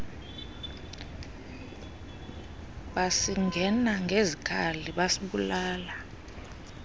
basingena ngezikhali basibulala